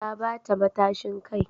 Ta bata matashin kai